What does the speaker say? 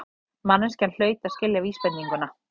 Manneskjan hlaut að skilja vísbendinguna.